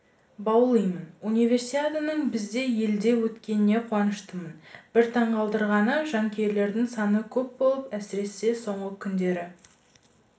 баулимын универсиаданың біздің елде өткеніне қуаныштымын бір таңқалдырғаны жанкүйерлердің саны көп болып әсіресе соңғы күндері